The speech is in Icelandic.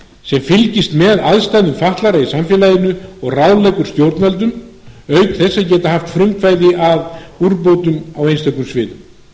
sem fylgist með aðstæðum fatlaðra í samfélaginu og ráðleggur stjórnvöldum auk þess að geta haft frumkvæði að úrbótum á einstökum sviðum